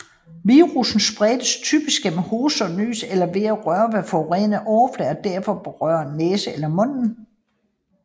Virussen spredes typisk gennem hoste og nys eller ved at røre ved forurenede overflader og derefter berøre næsen eller munden